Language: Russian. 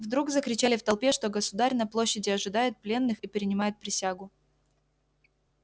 вдруг закричали в толпе что государь на площади ожидает пленных и принимает присягу